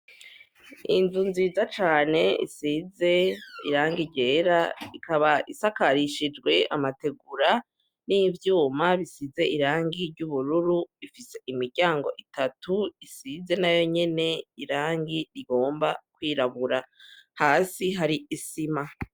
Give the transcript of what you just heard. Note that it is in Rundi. Inzu nziza cane isize irangi ryera ikaba isakarishijwe amategura n'ivyuma bisize irangi ry' ubururu ifise imiryango itatu isize na yo nyene irangi rigomba kwirabura hasi hari isima.